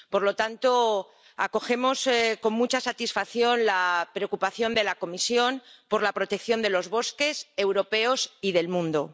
Por lo tanto, acogemos con mucha satisfacción la preocupación de la Comisión por la protección de los bosques europeos y del mundo.